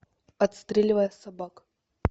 отстреливая собак